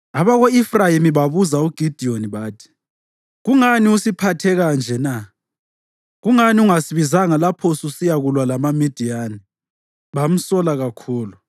Abako-Efrayimi babuza uGidiyoni bathi, “Kungani usiphathe kanje na? Kungani ungasibizanga lapho ususiyakulwa lamaMidiyani?” Bamsola kakhulu.